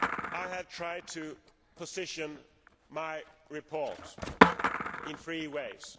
I have tried to position my report in three ways.